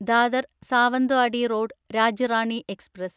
Dadar Sawantwadi road Rajya Rani express